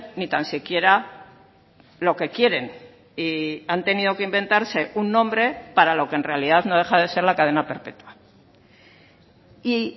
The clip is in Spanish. ni tan siquiera lo que quieren y han tenido que inventarse un nombre para lo que en realidad no deja de ser la cadena perpetua y